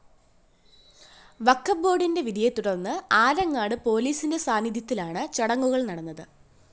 വഖബ് ബോര്‍ഡിന്റെ വിധിയെത്തുടര്‍ന്ന് ആലങ്ങാട് പോലീസിന്റെ സാന്നിധ്യത്തിലാണ് ചടങ്ങുകള്‍ നടന്നത്